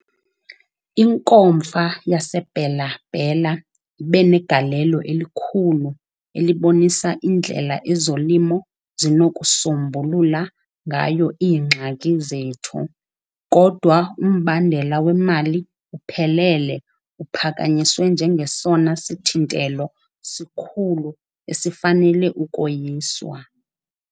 Inkomfa yaseBela-Bela ibe negalelo elikhulu elibonisa indlela ezolimo zinokusombulula ngayo iingxaki zethu, kodwa umbandela wemali uphelele uphakanyiswe njengesona sithintelo sikhulu esifanele ukoyiswa.